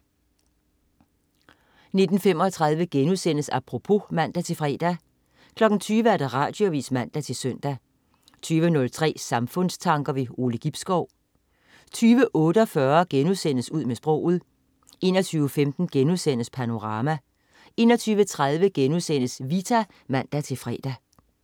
19.35 Apropos* (man-fre) 20.00 Radioavis (man-søn) 20.03 Samfundstanker. Ove Gibskov 20.48 Ud med sproget* 21.15 Panorama* 21.30 Vita* (man-fre)